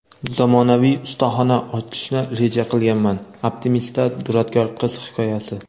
"Zamonaviy ustaxona ochishni reja qilganman" – "Optimist"da duradgor qiz hikoyasi.